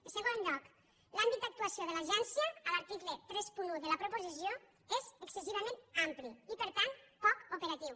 en segon lloc l’àmbit d’actuació de l’agència a l’article trenta un de la proposició és excessivament ampli i per tant poc operatiu